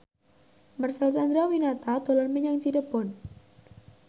Marcel Chandrawinata dolan menyang Cirebon